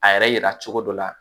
A yɛrɛ yira cogo dɔ la